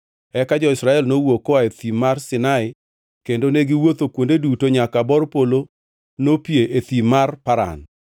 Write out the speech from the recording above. Eka jo-Israel nowuok koa e Thim mar Sinai kendo ne giwuotho kuonde duto nyaka bor polo nopie e Thim mar Paran.